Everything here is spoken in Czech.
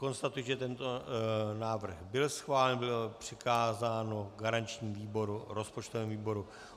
Konstatuji, že tento návrh byl schválen, bylo přikázáno garančnímu výboru, rozpočtovému výboru.